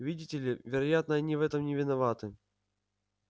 видите ли вероятно они в этом не виноваты